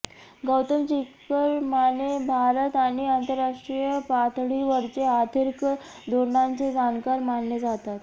गौतम चिकरमाने भारत आणि आंतरराष्ट्रीय पातळीवरचे आर्थिक धोरणांचे जाणकार मानले जातात